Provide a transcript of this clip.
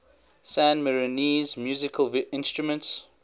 san marinese musical instruments